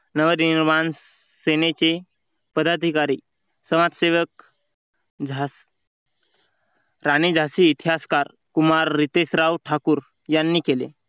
नवनिर्माण सेनेचे पदाधिकारी समाजसेवक झा राणी झाशी इतिहासकार कुमार रितेश राव ठाकूर यांनी केले.